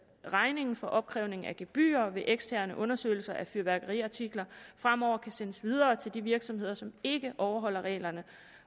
regningen for opkrævning af gebyrer ved eksterne undersøgelser af fyrværkeriartikler fremover kan sendes videre til de virksomheder som ikke overholder reglerne